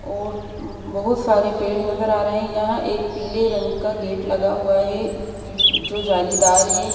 और बहुत सारे पेड़ नजर आ रहे हैं यहां एक पीले रंग का गेट लगा हुआ है जोजो जालीदार है।